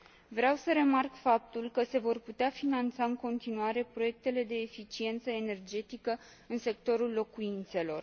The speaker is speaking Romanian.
Vreau să remarc faptul că se vor putea finanța în continuare proiectele de eficiență energetică în sectorul locuințelor.